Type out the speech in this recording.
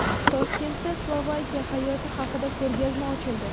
Toshkentda Slovakiya hayoti haqida ko‘rgazma ochildi.